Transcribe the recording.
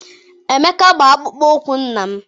Emeka gba akpụkpọ ụkwụ nna m.